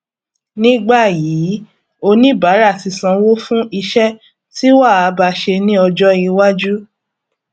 nígbà yìí oníbàárà tí sanwó fún iṣẹ tí wàá ba ṣe ní ọjọ iwájú